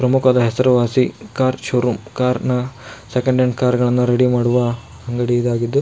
ಪ್ರಮುಖವಾದ ಹೆಸರುವಾಸಿ car showroom car ನ ಸೆಕೆಂಡ್ ಹ್ಯಾಂಡ್ ಕಾರ್ ನ ರೆಡಿ ಮಾಡುವ ಅಂಗಡಿ ಇದಾಗಿದ್ದು.